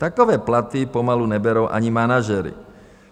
Takové platy pomalu neberou ani manažeři.